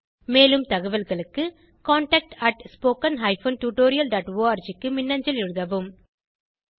மேலும் தகவல்களுக்கு contactspoken tutorialorg க்கு மின்னஞ்சல் எழுதவும்